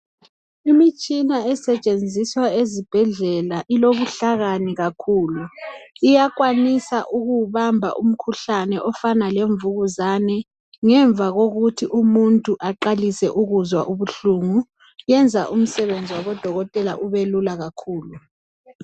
Imitshina esetshenziswa ezibhedlela ilobuhlakani kakhulu, iyakwanisa ukuwubamba umkhuhlane ofana lemvukuzane ngemva kokuthi umuntu aqalise ukuzwa ubuhlungu yenza umsebenzi wabadokotela ube lula kakhulu